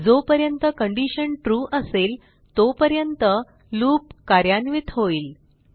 जोपर्यंत condition true असेल तोपर्यंत लूप कार्यान्वित होईल